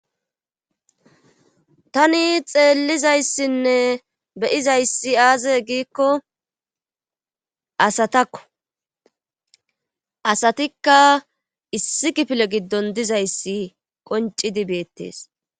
Tani xeellizayssinne beyizayssi aaze giikko asatakko asatikka issi kifile giddon dizayssi qoncidi beettees.